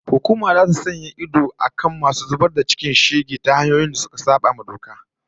Hukuma zata sa idon akan masu zubar da cikin shege ta hanyoyin da suka sabawa doka